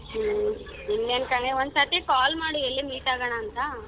ಹ್ಮ್ ಇನ್ನೇನ್ ಕಣೆ ಒಂದ್ ಸತಿ call ಎಲ್ಲಿ meet ಆಗೋಣ ಅಂತ.